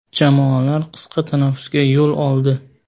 Jamoalar qisqa tanaffusga yo‘l oldi.